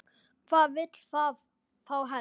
Hvað vill það þá helst?